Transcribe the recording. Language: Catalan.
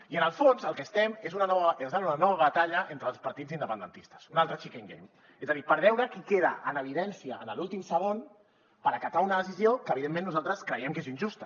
i en el fons el que estem és en una nova batalla entre els partits independentistes un altre chicken game és a dir per veure qui queda en evidència en l’últim segon per acatar una decisió que evidentment nosaltres creiem que és injusta